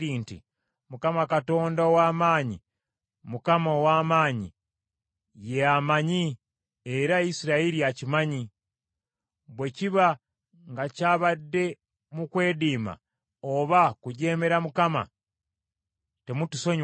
“ Mukama Katonda ow’Amaanyi, Mukama ow’Amaanyi! Ye amanyi, era Isirayiri akimanye! Bwe kiba nga kyabadde mu kwediima oba kujeemera Mukama , temutusonyiwa leero.